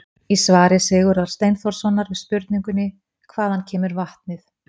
Í svari Sigurðar Steinþórssonar við spurningunni: Hvaðan kemur vatnið?